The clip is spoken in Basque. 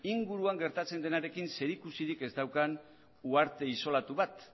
inguruan gertatzen denarekin zerikusirik ez daukan uharte isolatu bat